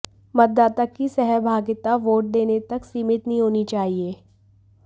मतदाता की सहभागिता वोट देने तक सीमित नहीं होनी चाहिए